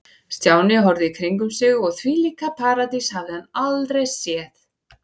Stjáni horfði í kringum sig og þvílíka paradís hafði hann aldrei séð.